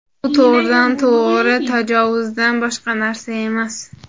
bu to‘g‘ridan-to‘g‘ri tajovuzdan boshqa narsa emas”.